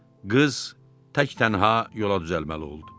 Qız tək-tənha yola düzəlməli oldu.